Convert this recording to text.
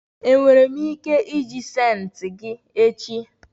enwere m ike iji senti gi echi?